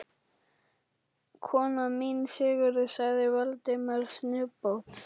Konan mín, Sigríður sagði Valdimar snubbótt.